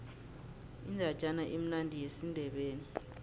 indatjana emnandi yesindebele